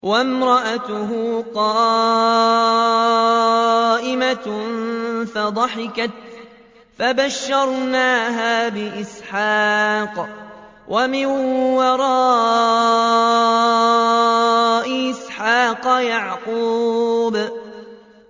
وَامْرَأَتُهُ قَائِمَةٌ فَضَحِكَتْ فَبَشَّرْنَاهَا بِإِسْحَاقَ وَمِن وَرَاءِ إِسْحَاقَ يَعْقُوبَ